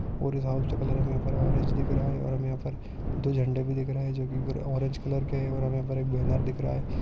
और इस हाउस का कलर हमे यहाँ पर ऑरेंज दिख रहा है और हमे यहाँ पर दो झंडे भी दिख रहे जो कि ग्रे ऑरेंज कलर के है और हमे यहाँ पर एक बैनर दिख रहा है।